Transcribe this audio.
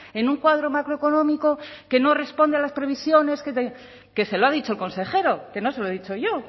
en un cuadro macroeconómico que no responde a las previsiones que se lo ha dicho el consejero que no se lo he dicho yo